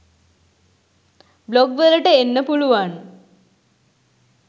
Blog වලට එන්න පුළුවන්.